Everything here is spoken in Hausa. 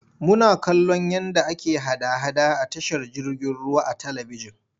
Muna kallon yadda ake hada-hada a tashar jirgin ruwa a talibijin.